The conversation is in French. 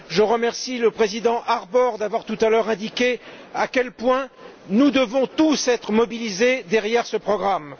Je remercie le président Harbour d'avoir tout à l'heure indiqué à quel point nous devons tous être mobilisés derrière ce programme.